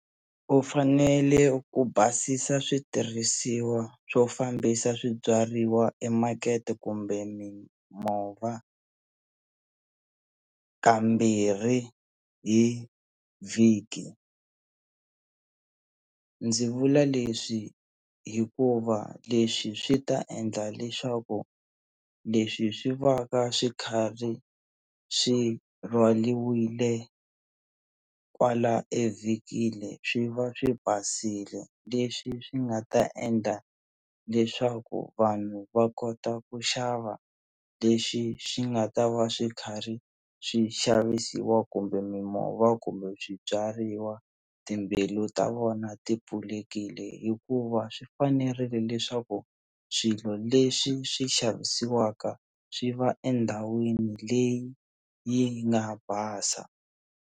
U fanele ku basisa switirhisiwa swo fambisa swibyariwa emakete kumbe mimova kambirhi hi vhiki, ndzi vula leswi hikuva leswi swi ta endla leswaku leswi swi va ka swi khari swi rhwaliwile kwala evhikini swi va swi basile leswi swi nga ta endla leswaku vanhu va kota ku xava leswi swi nga ta va swi kharhi swi xavisiwa kumbe mimova kumbe swibyariwa timbilu ta vona ti pfulekile hikuva swi fanerile leswaku swilo leswi swi xavisiwaka swi va endhawini leyi yi nga basa.